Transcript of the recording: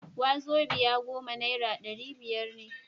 wazobia goma naira dari biyar ne